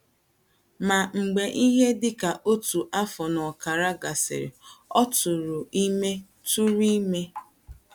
Ma mgbe ihe dị ka otu afọ na ọkara gasịrị, ọ tụụrụ ime. tụụrụ ime.